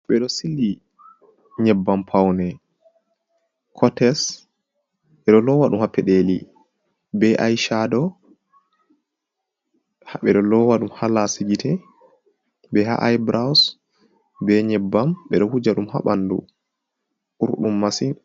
Beɗo sili nyebbam paune. Cottes bedo lowa dum ha peɗeli be aichaɗo. Be lowa ɗum ha lasi gite. Be ha ai buraus, be nyebbam beɗo huja dum ha banɗu urɗum masin.